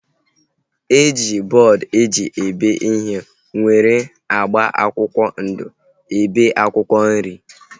E ji bọọdu eji ebe ihe nwere agba akwụkwọ ndụ ebe akwụkwọ nri